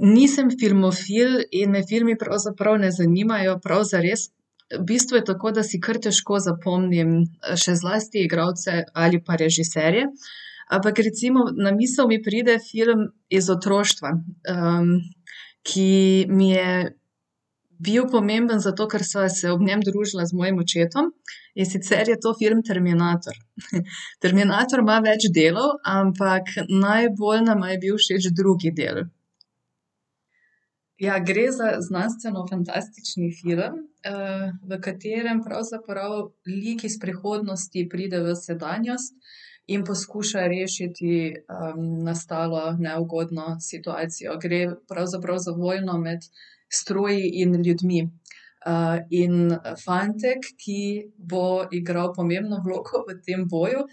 nisem filmofil in me filmi pravzaprav ne zanimajo prav zares, v bistvu je tako, da si kar težko zapomnim, še zlasti igralce ali pa režiserje. Ampak recimo na misli mi pride film iz otroštva, ki mi je bil pomemben zato, ker sva se ob njem družila z mojim očetom, in sicer je to film Terminator. Terminator ima več delov, ampak najbolj nama je bil všeč drugi del. Ja, gre za znanstvenofantastični film, v katerem pravzaprav lik iz prihodnosti pride v sedanjost in poskuša rešiti, nastalo neugodno situacijo. Gre pravzaprav za vojno med stroji in ljudmi. in fantek, ki bo igral pomembno vlogo v tem boju,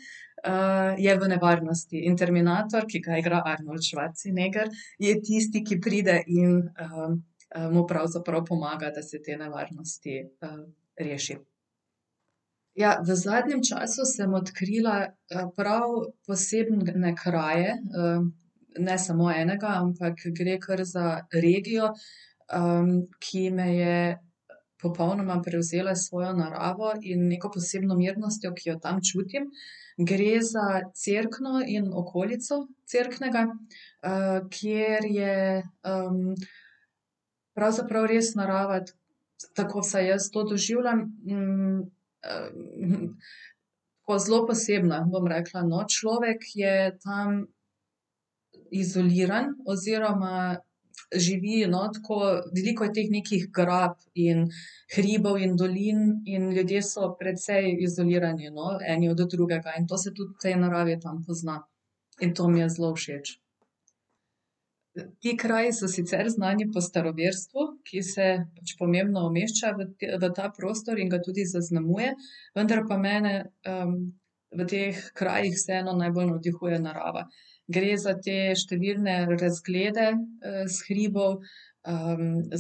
je v nevarnosti. In Terminator, ki ga igra Arnold Schwarzenegger, je tisti, ki pride in, mu pravzaprav pomaga, da se te nevarnosti, reši. Ja, v zadnjem času sem odkrila, prav posebne kraje. ne samo enega, ampak gre kar za regijo, ki me je popolnoma prevzela s svojo naravo in neko posebno mirnostjo, ki jo tam čutim. Gre za Cerkno in okolico Cerknega, kjer je, pravzaprav res narava, tako vsaj jaz to doživljam, tako, zelo posebna, bom rekla, no. Človek je tam izoliran oziroma živi, no, tako, veliko je teh nekih grap in hribov in dolin in ljudje so precej izolirani, no, eni od drugega, in to se tudi v tej naravi tam pozna. In to mi je zelo všeč. Ti kraji so sicer znani po staroverstvu, ki se pač pomembno umešča v v ta prostor in ga tudi zaznamuje, vendar pa mene, v teh krajih vseeno najbolj navdihuje narava. Gre za te številne razglede, s hribov,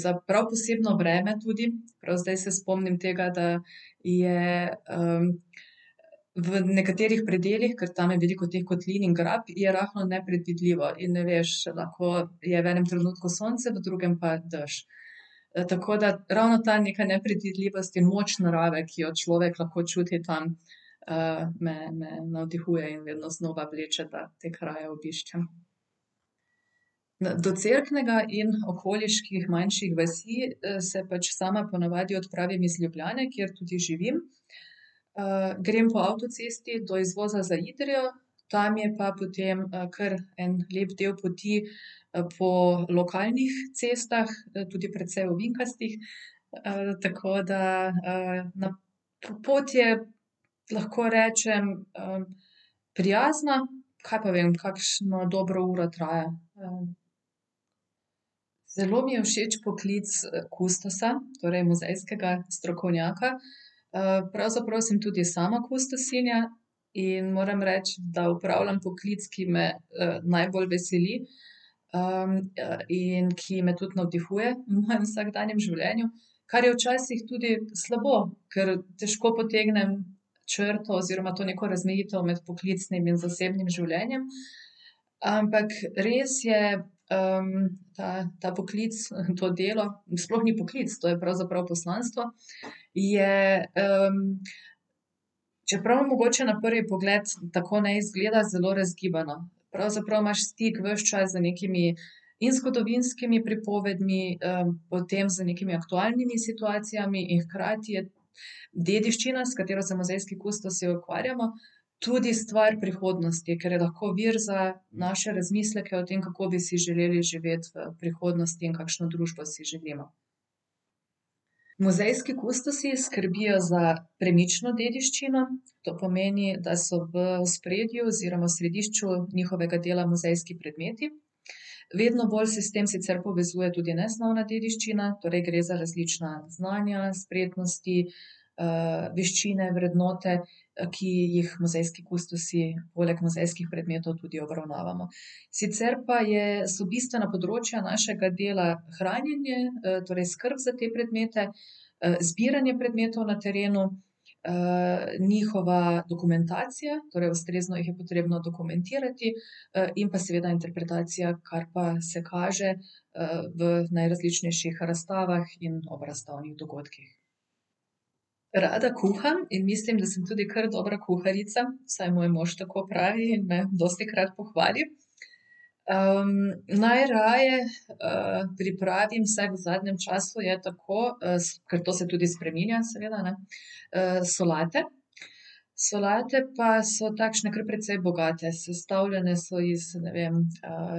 za prav posebno vreme tudi, prav zdaj se spomnim tega, da je, v nekaterih predelih, ker tam je veliko teh kotlin in grap, je rahlo nepredvidljivo. In ne veš, lahko je v enem trenutku sonce, v drugem pa dež. tako da ravno ta neka nepredvidljivost in moč narave, ki jo človek lahko čuti tam, me, me navdihuje in vedno znova vleče, da te kraje obiščem. do Cerknega in okoliških manjših vasi, se pač sama po navadi odpravim iz Ljubljane, kjer tudi živim. grem po avtocesti do izvoza za Idrijo, tam je pa potem, kar en lep del poti, po lokalnih cestah, tudi precej ovinkastih. tako da, nam pot je, lahko rečem, prijazna. Kaj pa vem, kakšno dobro uro traja, ja. Zelo mi je všeč poklic, kustosa, torej muzejskega strokovnjaka. pravzaprav sem tudi sama kustosinja in moram reči, da opravljam poklic, ki me najbolj veseli, in ki me tudi navdihuje v mojem vsakdanjem življenju. Kar je včasih tudi slabo, ker težko potegnem črto oziroma to neko razmejitev med poklicnim in zasebnim življenjem. Ampak res je, ta, ta poklic in to delo mi sploh ni poklic, to je pravzaprav poslanstvo, je, čeprav mogoče na prvi pogled tako ne izgleda, zelo razgibano. Pravzaprav imaš stik ves čas z nekimi in zgodovinskimi pripovedmi, potem z nekimi aktualnimi situacijami in hkrati je dediščina, s katero se muzejski kustosi ukvarjamo, tudi stvar prihodnosti, ker je lahko vir za naše razmisleke o tem, kako bi si želeli živeti v prihodnosti in kakšno družbo si želimo. Muzejski kustosi skrbijo za premično dediščino, to pomeni, da so v ospredju oziroma središču njihovega dela muzejski predmeti. Vedno bolj se s tem sicer povezuje tudi nesnovna dediščina, torej gre za različna znanja, spretnosti, veščine, vrednote, ki jih muzejski kustosi poleg muzejskih predmetov tudi obravnavamo. Sicer pa je, so bistvena področja našega dela hranjenje, torej skrb za te predmete, zbiranje predmetov na terenu, njihova dokumentacija, torej ustrezno jih je potrebno dokumentirati, in pa seveda interpretacija, kar pa se kaže, v najrazličnejših razstavah in ob razstavnih dogodkih. Rada kuham in mislim, da sem tudi kar dobra kuharica, vsaj moj mož tako pravi in me dostikrat pohvali. najraje, pripravim, vsaj v zadnjem času je tako, ker to se tudi spreminja seveda, ne, solate. Solate pa so takšne kar precej bogate. Sestavljene so iz, ne vem,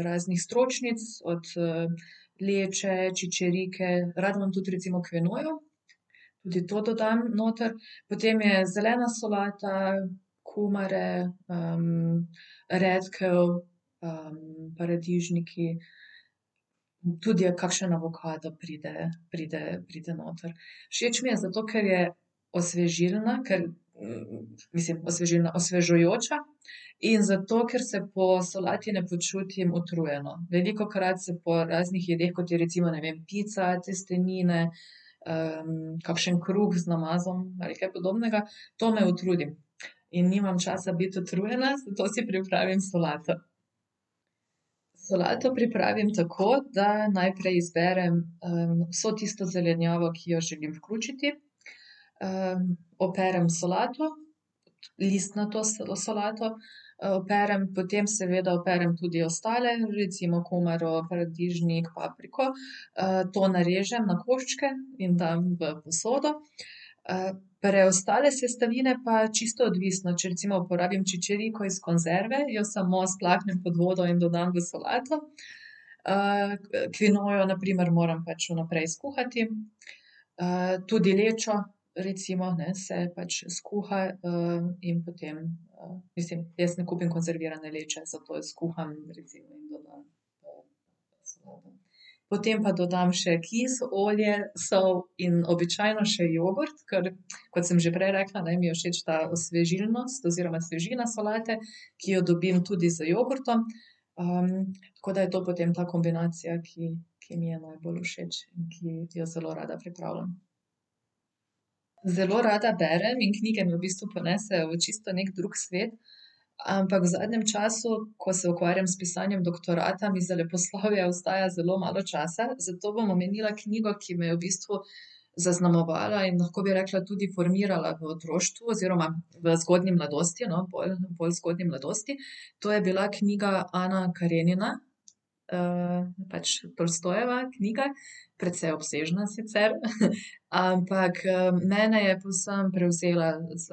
raznih stročnic, od, leče, čičerike, rada imam tudi recimo kvinojo. Tudi to dodam noter. Potem je zelena solata, kumare, redkev, paradižniki. Tudi kakšen avokado pride, pride, pride noter. Všeč mi je zato, ker je osvežilna, ker, mislim, osvežilna, osvežujoča, in zato, ker se po solati ne počutim utrujeno. Velikokrat se po raznih jedeh, kot je recimo, ne vem, pica, testenine, kakšen kruh z namazom ali kaj podobnega, to me utrudi. In nimam časa biti utrujena, zato si pripravim solato. Solato pripravim tako, da najprej izberem, vso tisto zelenjavo, ki jo želim vključiti, operem solato, listnato solato, operem, potem seveda operem tudi ostale, recimo kumaro, paradižnik, papriko. to narežem na koščke in dam v posodo. preostale sestavine pa čisto odvisno. Če recimo porabim čičeriko iz konzerve, jo samo splaknem pod vodo in dodam v solato, kvinojo na primer moram pač vnaprej skuhati, tudi lečo recimo, ne, se pač skuha, in potem, mislim, jaz ne kupim konzervirane leče, zato jo skuham. Potem pa dodam še kis, olje, sol in običajno še jogurt, ker kot sem že prej rekla, ne, mi je všeč ta osvežilnost oziroma svežina solate, ki jo dobim tudi z jogurtom. tako da je to potem ta kombinacija, ki, ki mi je najbolj všeč in ki jo zelo rada pripravljam. Zelo rada berem in knjige me v bistvu ponesejo v čisto neki drug svet. Ampak v zadnjem času, ko se ukvarjam s pisanjem doktorata, mi za leposlovje ostaja zelo malo časa, zato bom omenila knjigo, ki me je v bistvu zaznamovala in lahko bi rekla tudi formirala v otroštvu oziroma v zgodnji mladosti, no, bolj zgodnji mladosti. To je bila knjiga Ana Karenina. pač Tolstojeva knjiga, precej obsežna sicer. Ampak, mene je povsem prevzela z,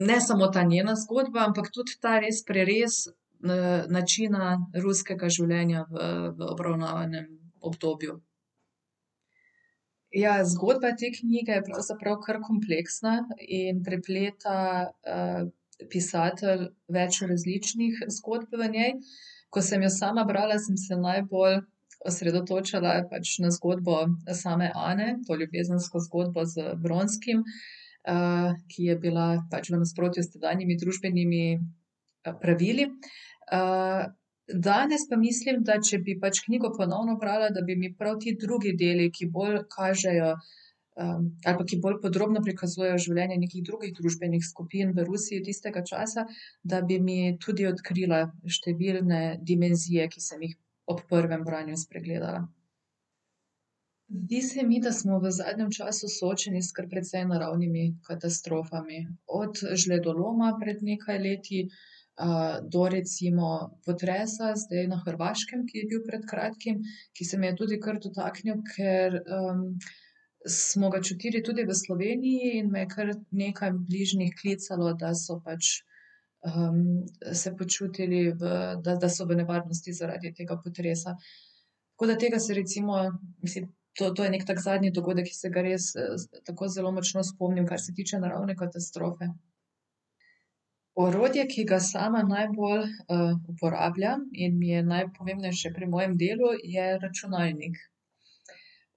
ne samo ta njena zgodba, ampak tudi ta res prerez, načina ruskega življenja v, v obravnavanem obdobju. Ja, zgodba te knjige je pravzaprav kar kompleksna in prepleta, pisatelj več različnih zgodb v njej. Ko sem jo sama brala, sem se najbolj osredotočala pač na zgodbo same Ane, to ljubezensko zgodbo z Vronskim, ki je bila pač v nasprotju s tedanjimi družbenimi, pravili. danes pa mislim, da če bi pač knjigo ponovno brala, da bi mi pravi ti drugi deli, ki bolj kažejo, ali pa ki bolj podrobno prikazujejo življenje nekih drugih družbenih skupin v Rusiji tistega časa, da bi mi tudi odkrila številne dimenzije, ki sem jih ob prvem branju spregledala. Zdi se mi, da smo v zadnjem času soočeni s kar precej naravnimi katastrofami. Od žledoloma pred nekaj leti, do recimo potresa zdaj na Hrvaškem, ki je bil pred kratkim, ki se me je tudi kar dotaknil, ker, smo ga čutili tudi v Sloveniji in me je kar nekaj bližnjih klicalo, da so pač, se počutili v, da, da so v nevarnosti zaradi tega potresa. Tako da tega se recimo, mislim, to, to je neki tak zadnji dogodek, ki se ga res, tako zelo močno spomnim, kar se tiče naravne katastrofe. Orodje, ki ga sama najbolj, uporabljam in mi je najpomembnejše pri mojem delu, je računalnik.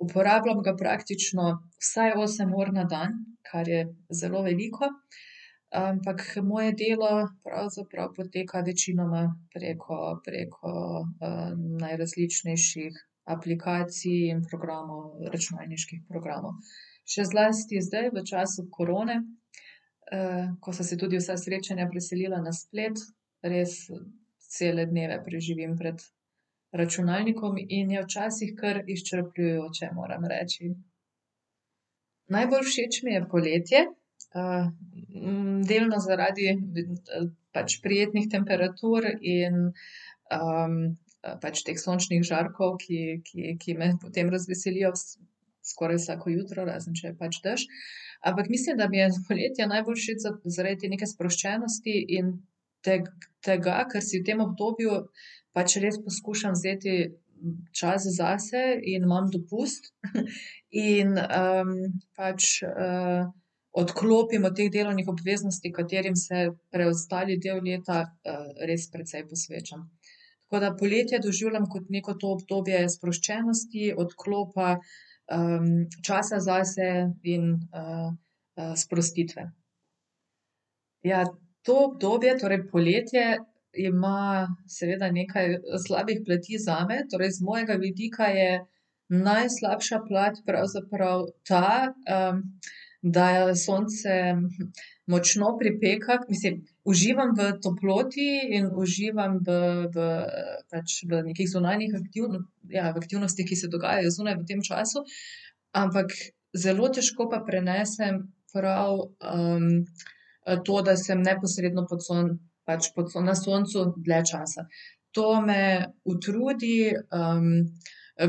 Uporabljam ga praktično vsaj osem ur na dan, kar je zelo veliko. Ampak moje delo pravzaprav poteka večinoma preko, preko, najrazličnejših aplikacij in programov, računalniških programov. Še zlasti zdaj, v času korone, ko so se tudi vsa srečanja preselila na splet, res cele dneve preživim pred računalnikom in je včasih kar izčrpljujoče, moram reči. Najbolj všeč mi je poletje, delno zaradi pač prijetnih temperatur in, pač teh sončnih žarkov, ki, ki, ki me potem razveselijo skoraj vsako jutro, razen če je pač dež. Ampak mislim, da mi je poletje najbolj všeč zaradi te neke sproščenosti in tega, ker si v tem obdobju pač res poskušam vzeti čas zase in imam dopust. in, pač, odklopim od teh delovnih obveznosti, katerim se preostali del leta, res precej posvečam. Tako da poletje doživljam kot neko to obdobje sproščenosti, odklopa, časa zase in, sprostitve. Ja, to obdobje, torej poletje, ima seveda nekaj slabih plati zame. Torej z mojega vidika je najslabša plat pravzaprav ta, da sonce močno pripeka, mislim, uživam v toploti in uživam v, v, pač v nekih zunanjih ja, v aktivnostih, ki se dogajajo zunaj v tem času, ampak zelo težko pa prenesem prav, to, da sem neposredno pod pač po na soncu dlje časa. To me utrudi,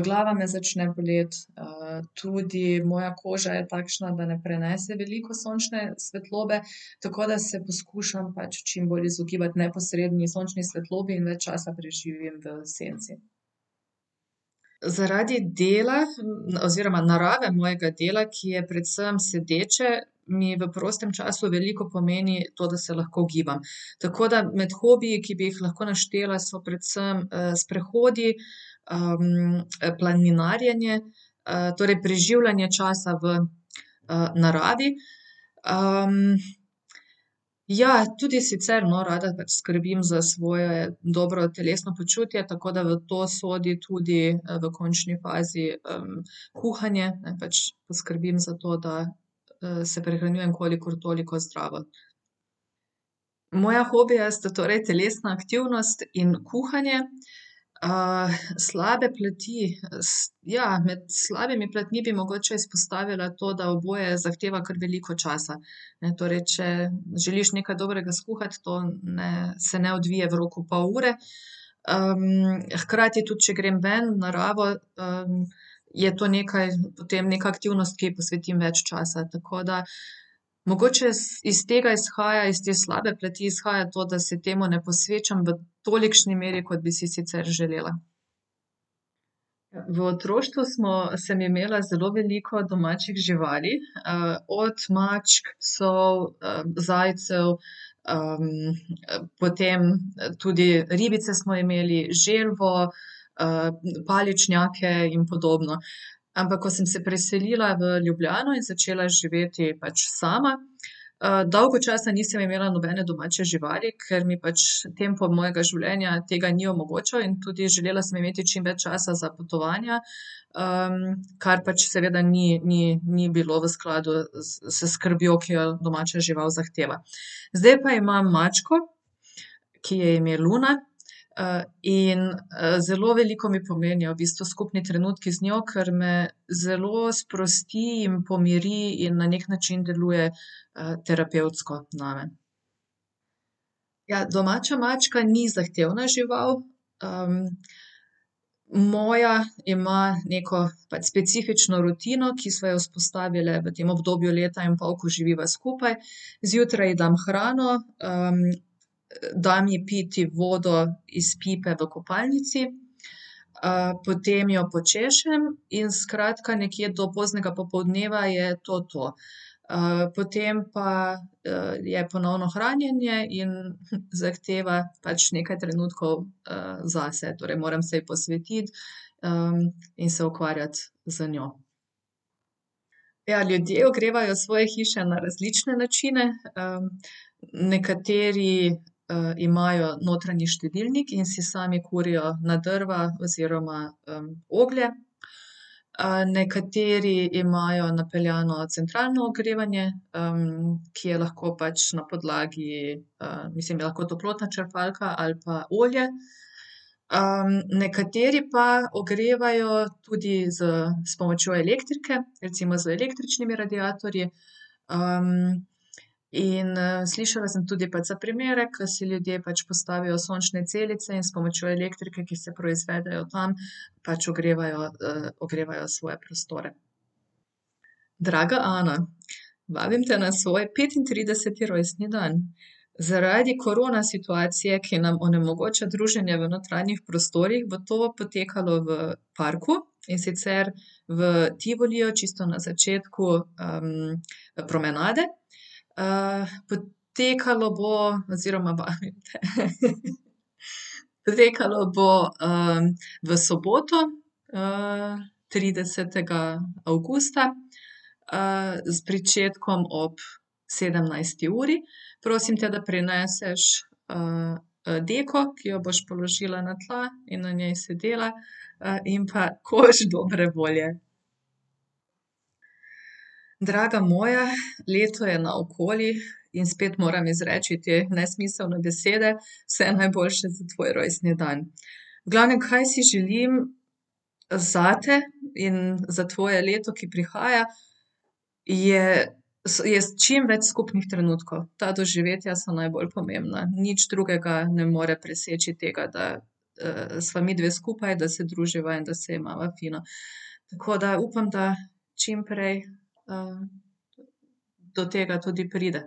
glava me začne boleti, tudi moja koža je takšna, da ne prenese veliko sončne svetlobe. Tako da se poskušam pač čim bolj izogibati neposredni sončni svetlobi in več časa preživim v senci. Zaradi dela oziroma narave mojega dela, ki je predvsem sedeče, mi v prostem času veliko pomeni to, da se lahko gibam. Tako da med hobiji, ki bi jih lahko naštela, so predvsem, sprehodi, planinarjenje, torej preživljanje časa v, naravi. ja, tudi sicer, no, rada pač skrbim za svoje dobro telesno počutje, tako da v to sodi tudi, v končni fazi, kuhanje, ne, pač, poskrbim za to, da, se prehranjujem kolikor toliko zdravo. Moja hobija st torej telesna aktivnost in kuhanje. slabe plati. ja, med slabimi platmi bi mogoče izpostavila to, da oboje zahteva kar veliko časa, ne, torej če želiš nekaj dobrega skuhati, to ne, se ne odvije v roku pol ure. hkrati tudi če grem ven, v naravo, je to nekaj, potem neka aktivnost, ki ji posvetim več časa. Tako da mogoče iz tega izhaja, iz te slabe plati, izhaja to, da se temu ne posvečam v tolikšni meri, kot bi si sicer želela. V otroštvu smo, sem imela zelo veliko domačih živali, od mačk, psov, zajcev, potem, tudi ribice smo imeli, želvo, paličnjake in podobno. Ampak ko sem se preselila v Ljubljano in začela živeti pač sama, dolgo časa nisem imela nobene domače živali, ker mi pač tempo mojega življenja tega ni omogočal in tudi želela sem imeti čim več časa za potovanja, kar pač seveda ni, ni, ni bilo v skladu s skrbjo, ki jo domača žival zahteva. Zdaj pa imam mačko, ki ji je ime Luna. in, zelo veliko mi pomenijo v bistvu skupni trenutki z njo, kar me zelo sprosti in pomiri in na neki način deluje, terapevtsko name. Ja, domača mačka ni zahtevna žival. moja ima neko pač specifično rutino, ki sva jo vzpostavili v tem obdobju leta in pol, ko živiva skupaj. Zjutraj ji dam hrano, dam ji piti vodo iz pipe v kopalnici, potem jo počešem, in skratka, nekje do poznega popoldneva je to to. potem pa, je ponovno hranjenje in, zahteva pač nekaj trenutkov, zase, torej moram se ji posvetiti, in se ukvarjati z njo. Ja, ljudje ogrevajo svoje hiše na različne načine. nekateri, imajo notranji štedilnik in si sami kurijo na drva oziroma, oglje. nekateri imajo napeljano centralno ogrevanje, ki je lahko pač na podlagi, mislim, je lahko toplotna črpalka ali pa olje. nekateri pa ogrevajo tudi s, s pomočjo elektrike, recimo z električnimi radiatorji. in, slišala sem tudi pač za primere, ke si ljudje pač postavijo sončne celice in s pomočjo elektrike, ki se proizvede od tam, pač ogrevajo, ogrevajo svoje prostore. Draga Ana, vabim te na svoj petintrideseti rojstni dan. Zaradi korona situacije, ki nam onemogoča druženje v notranjih prostorih, bo to potekalo v parku, in sicer v Tivoliju, čisto na začetku, promenade. potekalo bo oziroma vabim te, Potekalo bo, v soboto, tridesetega avgusta, s pričetkom ob sedemnajsti uri. Prosim te, da prineseš, deko, ki jo boš položila na tla in na njej sedela, in pa koš dobre volje. Draga moja, leto je naokoli in spet moram izreči te nesmiselne besede. Vse najboljše za tvoj rojstni dan. V glavnem, kaj si želim zate in za tvoje leto, ki prihaja, je, je čim več skupnih trenutkov, ta doživetja so najbolj pomembna. Nič drugega ne more preseči tega, da, sva midve skupaj, da se druživa in da se imava fino. Tako da upam, da čim prej, do tega tudi pride.